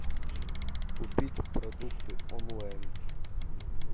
купить продукты онлайн